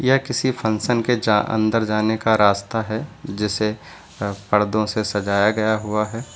यह किसी फंक्शन के जा अंदर जाने का रास्ता है जिसे पर्दों से सजाया गया हुआ है।